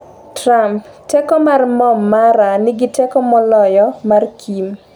Trump: teko mar mbom mara nigi teko moloyo mar Kim